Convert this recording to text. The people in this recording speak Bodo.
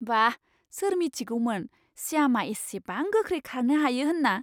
बाह! सोर मिथिगौमोन श्यामआ इसिबां गोख्रै खारनो हायो होनना!